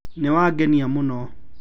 Niwangenia mũno